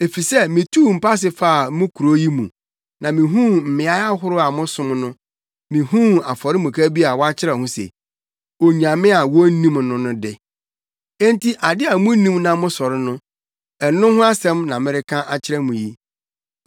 Efisɛ mituu mpase faa mo kurow yi mu, na mihuu mmeae ahorow a mosom no, mihuu afɔremuka bi a wɔakyerɛw ho se, Onyame a wonnim no no de. Enti ade a munnim na mosɔre no, ɛno ho asɛm na mereka akyerɛ mo yi.